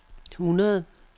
hundrede